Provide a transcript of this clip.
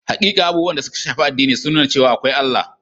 Hakika, abubuwan da suka shafi addini sun nuna cewa akwai Allah.